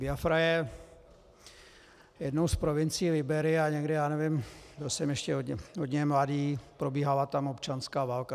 Biafra je jednou z provincií Libérie a někdy, já nevím, byl jsem ještě hodně mladý, probíhala tam občanská válka.